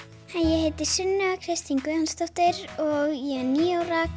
hæ ég heiti Sunna Kristín Guðjónsdóttir og ég er níu ára